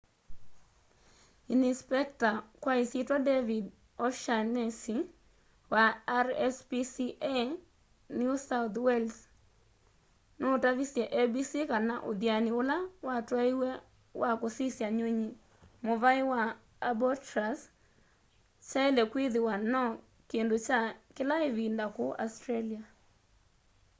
inisipekita kwa isyitwa david o'shannesy wa rspca new south wales nutavisye abc kana uthiani ula watwaiw'e wa kusisya nyunyi muvai wa abbatoirs kyaile kwithiwa no kindu kya kila ivinda ku australia